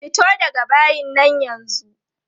Fito daga bayin nan yanzu!